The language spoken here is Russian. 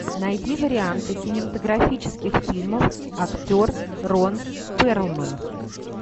найди варианты кинематографических фильмов актер рон перлман